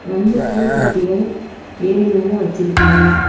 ரெண்டு பூத்தொட்டிகள் ஏரி மேல வச்சிருக்காங்க.